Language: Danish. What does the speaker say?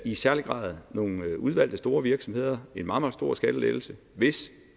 i særlig grad nogle udvalgte store virksomheder en meget meget stor skattelettelse hvis